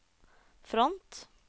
front